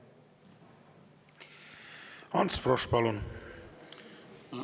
Ants Frosch, palun!